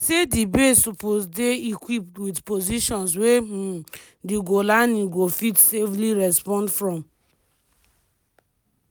e say di base suppose dey equipped wit positions wey um di golani go fit safely respond from.